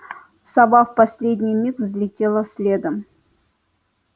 сова в последний миг взлетела следом